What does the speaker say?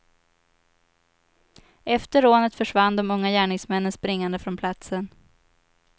Efter rånet försvann de unga gärningsmännen springande från platsen.